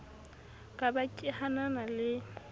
ka ba ke hanana le